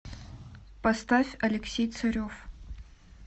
поставь алексей царев